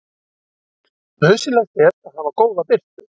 Nauðsynlegt er að hafa góða birtu.